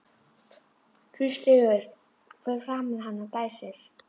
Tvístígur fyrir framan hana og dæsir.